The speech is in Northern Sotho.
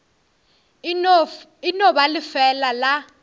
e no ba lefeela la